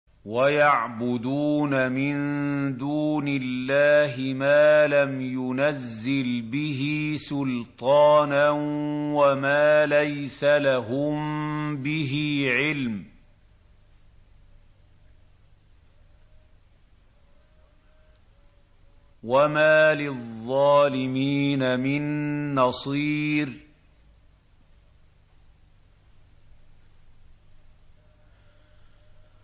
وَيَعْبُدُونَ مِن دُونِ اللَّهِ مَا لَمْ يُنَزِّلْ بِهِ سُلْطَانًا وَمَا لَيْسَ لَهُم بِهِ عِلْمٌ ۗ وَمَا لِلظَّالِمِينَ مِن نَّصِيرٍ